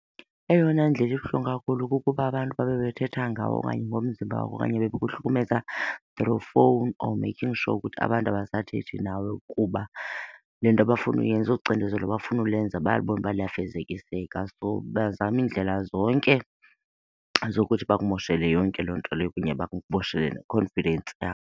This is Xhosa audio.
Eyona ndlela ibuhlungu kakhulu kukuba abantu babe bethetha ngawe okanye ngomzimba wakho okanye bekuhlukumeza through phone or making sure ukuthi abantu abasathethi nawe kuba le nto abafuna uyenza, olu cinizelo bafuna ulenza bayabona uba luyafezekiseka. So bazame iindlela zonke zokuthi bakumoshele yonke loo nto leyo kunye bakumoshele ne-confidence .